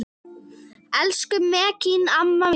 Elsku Mekkín amma mín.